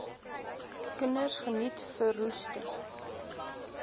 kinders geniet verroeste